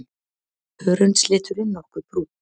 Hörundsliturinn nokkuð brúnn.